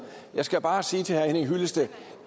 jeg skal bare sige til herre henning hyllested